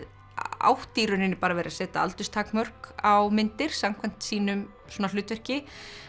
átti í rauninni bara að vera að setja aldurstakmörk á myndir samkvæmt sínu hlutverki